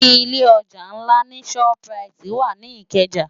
Ilé òjá nlá ni ṣòp ráiti wá ni Ikeja